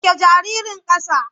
Sauke jaririn ƙasa.